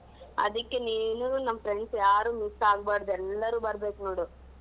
ಅದಿಕ್ಕೆ ನೀನು ನಮ್ಮ್ friends ಯಾರು miss ಆಗ್ಬಾರ್ದು ಎಲ್ಲರೂ ಬರ್ಬೇಕು ನೋಡು.